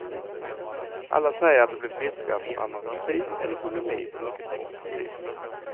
Alla säger att de blev friska från anorexi eller bulimi på mycket kort tid.